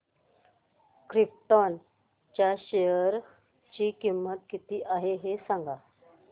krypton च्या share ची किंमत किती आहे हे सांगा